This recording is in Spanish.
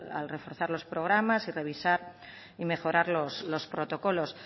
a reforzar los programas y revisar y mejorar los protocolos